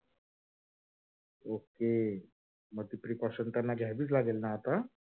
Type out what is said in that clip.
ok अशी precausion त्यांना घ्यावीच लागेल ना आता?